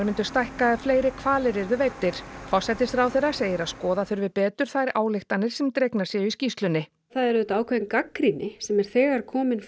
myndu stækka ef fleiri hvalir yrðu veiddir forsætisráðherra segir að skoða þurfi betur þær ályktanir sem dregnar séu í skýrslunni það er auðvitað ákveðin gagnrýni sem er þegar komin